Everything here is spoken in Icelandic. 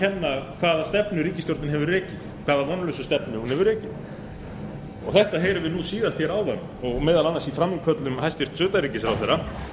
rekið hvaða vonlausa stefnu hún hefur rekið hvaða vonlausu stefnu hún hefur rekið þetta heyrðum við síðast áðan og meðal annars í frammíköllum hæstvirts utanríkisráðherra